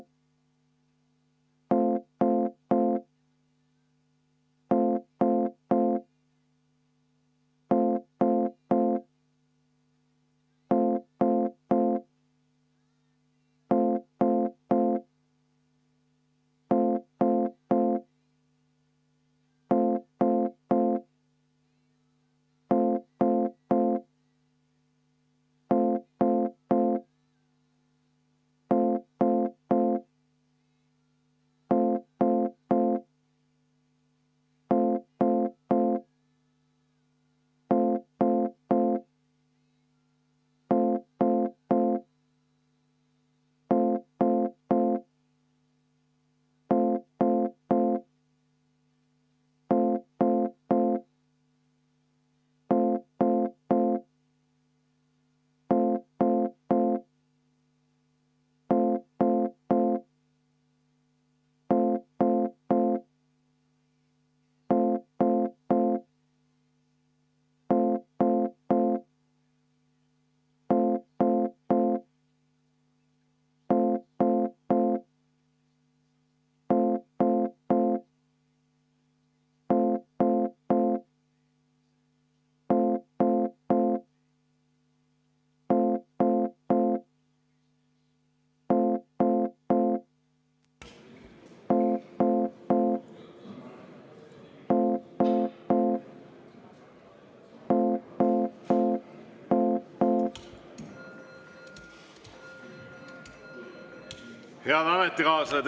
Head ametikaaslased!